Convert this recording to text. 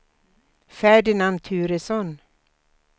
Ferdinand Turesson